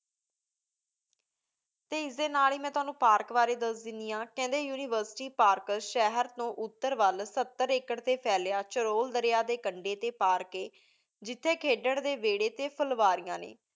T ਇਸ ਦੇ ਨਾਲ ਹੇ ਮੈ ਤ੍ਵਾਨੁ Park ਬਰੀ ਦਸ ਦੇਂਦੀ ਹਨ ਕੇਹੰਡੀ university park ਸ਼ੇਹਰ ਤੋ ਉਤਰ ਵਾਲ ਸਤਰ acre ਟੀ ਫੇਲ੍ਯਾ ਹੋਯਾ ਜਿਥਯ ਖਿਡਨ ਡੀ ਵੇਰੀ ਟੀ ਫ੍ਰ੍ਵਾਦੇਯਾਂ